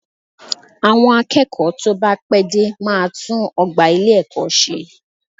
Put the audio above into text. Àwọn akẹ́kọ̀ọ́ tó bá pẹ́ dé máa tún ọgbà ilé-ẹ̀kọ́ ṣe